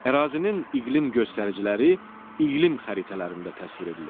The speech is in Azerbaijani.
Ərazinin iqlim göstəriciləri iqlim xəritələrində təsvir edilir.